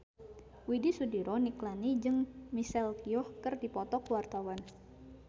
Widy Soediro Nichlany jeung Michelle Yeoh keur dipoto ku wartawan